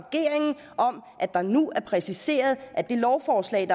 nu er præciseret at det lovforslag